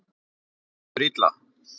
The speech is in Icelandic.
Henni líður illa.